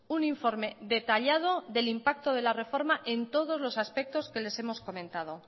un informe detallado del impacto de la reforma en todos los aspectos que les hemos comentado